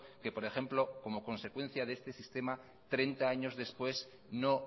que por ejemplo como consecuencia de este sistema treinta años después no